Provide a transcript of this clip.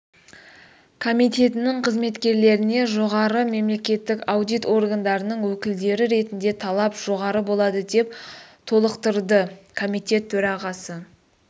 комитетінің қызметкерлеріне жоғары мемлекеттік аудит органдарының өкілдері ретінде талап жоғары болады деп толықтырды комитет төрағасы